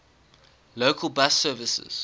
local bus services